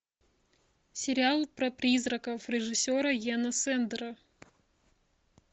сериал про призраков режиссера йена сэндера